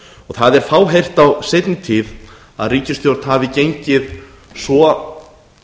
það er fáheyrt á seinni tíð að ríkisstjórn hafi gengið svo